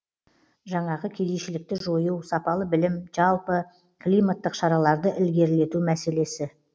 жаңағы кедейшілікті жою сапалы білім және жалпы климаттық іс шараларды ілгерілету мәселесі